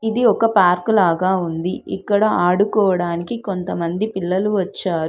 ఇది ఒక పార్కు లాగా ఉంది ఇక్కడ ఆడుకోవడానికి కొంతమంది పిల్లలు వచ్చారు.